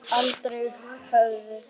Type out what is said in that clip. Aldrei höfðu